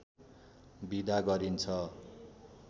बिदा गरिन्छ